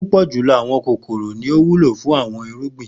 Pupọ julọ awọn kokoro ni o wulo fun awọn irugbin.